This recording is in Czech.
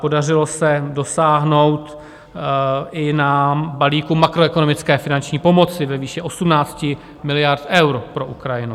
Podařilo se dosáhnout i na balík makroekonomické finanční pomoci ve výši 18 miliard eur pro Ukrajinu.